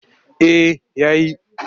Eh ya yi.